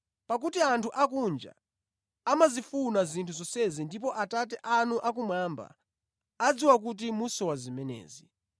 Pakuti anthu akunja amazifuna zinthu zonsezi ndipo Atate anu akumwamba adziwa kuti musowa zimenezi.